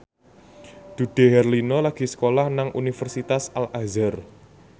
Dude Herlino lagi sekolah nang Universitas Al Azhar